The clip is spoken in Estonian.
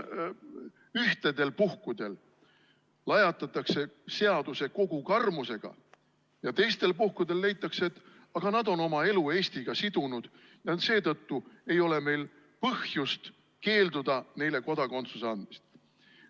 Ühtedele lajatatakse seaduse kogu karmusega ja teiste puhul leitakse, et aga nad on oma elu Eestiga sidunud ja seetõttu ei ole meil põhjust keelduda neile kodakondsust andmast.